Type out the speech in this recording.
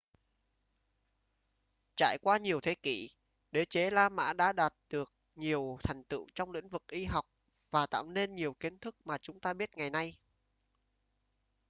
trải qua nhiều thế kỷ đế chế la mã đã đạt được nhiều thành tựu trong lĩnh vực y học và tạo nên nhiều kiến thức mà chúng ta biết ngày nay